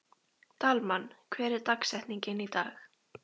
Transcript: Dalmann, hver er dagsetningin í dag?